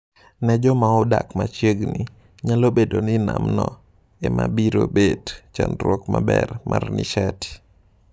Ne joma odak machiegni, nyalo bedoni nam no emabirobet chakruok maber mar nishati.